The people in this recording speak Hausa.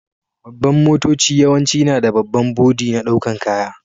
Babban motoci yawance na da babban boɗi na daukan ƙaya.